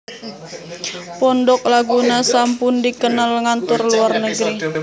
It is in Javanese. Pondok Laguna sampun dikenal ngantor luar negeri